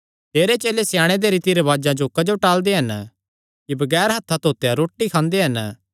तेरे चेले स्याणेयां दे रीति रिवाजां जो क्जो टाल़दे हन कि बगैर हत्थां धोतेयां रोटी खांदे हन